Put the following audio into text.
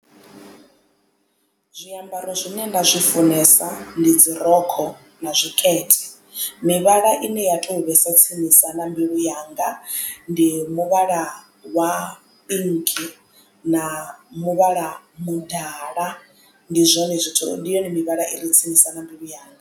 Zwiambaro zwine nda zwi funesa ndi dzi rokho na zwikete mivhala ine ya to vhesa tsinisa na mbilu yanga ndi muvhala wa pink na muvhala mudala ndi zwone zwithu ndi yone mivhala i re tsinisa na mbilu yanga.